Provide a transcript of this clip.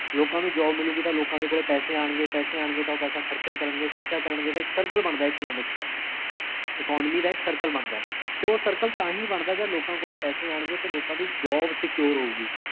ਲੋਕਾਂ ਨੂੰ job ਮਿਲੂਗੀ ਤਾਂ ਲੋਕਾਂ ਦੇ ਕੋਲੇ ਪੈਸੇ ਆਨਗੇ, ਪੈਸੇ ਆਨਗੇ ਤਾਂ ਓਹ ਪੈਸਾ ਖਰਚਾ ਕਰਨਗੇ ਜੇ ਖਰਚਾ ਕਰਨਗੇ ਤੇ circle ਬਣਦਾ ਹੈ economics ਦਾ economy ਦਾ ਇਕ cirle ਬਣਦਾ ਹੈ ਤੇ ਓਹ circle ਤਾਹਿੰ ਬਣਦਾ ਜੇਹੜਾ ਲੋਕਾਂ ਕੋਲੇ ਪੈਸੇ ਆਨਗੇ ਤੇ ਲੋਕਾਂ ਦੀ job secure ਹੋਊਗੀ